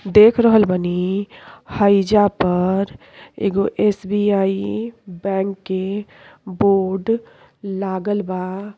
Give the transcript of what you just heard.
देख रहल बानी हइजा पर एगो एस.बी.आई. बैंक के बोर्ड लागल बा।